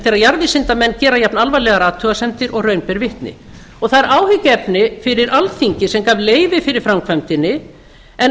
þegar jarðvísindamenn gera jafnalvarlegar athugasemdir og raun ber vitni það er áhyggjuefni fyrir alþingi sem gaf leyfi fyrir framkvæmdinni en